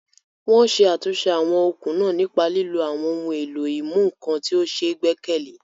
Wọ́n ṣe àtúnṣe àwọn okùn náà nípa lílo àwọn ohun èlò ìmúnǹkan tí ó ṣe é gbẹ́kẹ̀lé.